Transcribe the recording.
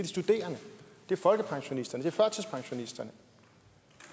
studerende folkepensionisterne og førtidspensionisterne